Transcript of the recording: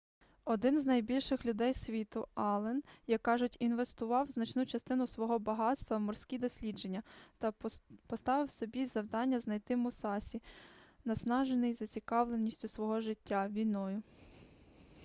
один з найбагатших людей світу аллен як кажуть інвестував значну частину свого багатства в морські дослідження та поставив собі завдання знайти мусасі наснажений зацікавленістю свого життя війною